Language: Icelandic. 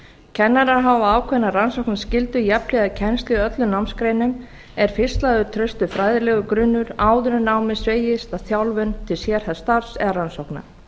kennarar hafa ákveðna rannsóknarskyldu jafnhliða kennslu í öllum námsgreinum er fyrst lagður traustur fræðilegur grunnur áður en námið hneigist að þjálfun til sérhæfðs starfs eða rannsókna